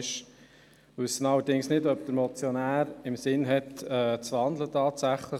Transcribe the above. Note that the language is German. Wir wissen nicht, ob der Motionär tatsächlich im Sinn hat, zu wandeln.